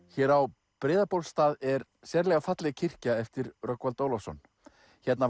hér á Breiðabólstað er sérlega falleg kirkja eftir Rögnvald Ólafsson hérna